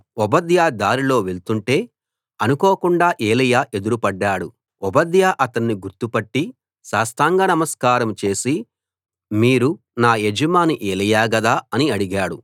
ఓబద్యా దారిలో వెళుతుంటే అనుకోకుండా ఏలీయా ఎదురు పడ్డాడు ఓబద్యా అతన్ని గుర్తు పట్టి సాష్టాంగ నమస్కారం చేసి మీరు నా యజమాని ఏలీయా గదా అని అడిగాడు